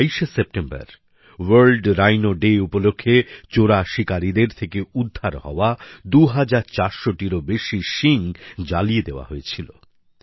গত ২২শে সেপ্টেম্বর বিশ্ব গন্ডার দিবস উপলক্ষে চোরা শিকারিদের থেকে উদ্ধার হওয়া ২৪০০টিরও বেশি শিং জ্বালিয়ে দেওয়া হয়েছিল